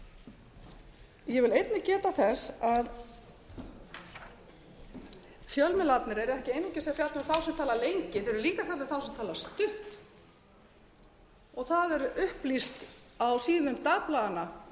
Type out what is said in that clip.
í málþófi ég vil einnig geta þess að fjölmiðlarnir eru ekki einungis að fjalla um þá sem tala lengi þeir eru líka að tala um þá sem tala stutt og það er upplýst á síðum dagblaðanna